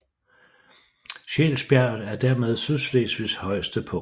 Scheelsbjerget er dermed Sydslesvigs højeste punkt